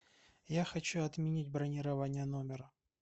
я хочу отменить бронирование номера